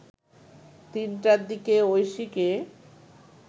৩টার দিকে ঐশীকে